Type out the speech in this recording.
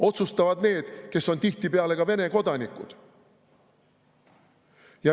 Otsustavad need, kes on tihtipeale ka Vene kodanikud.